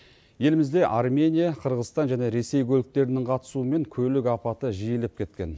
елімізде армения қырғызстан және ресей көліктерінің қатысуымен көлік апаты жиілеп кеткен